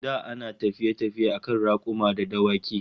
Da ana tafiye-tafiye akan rakuma da dawaki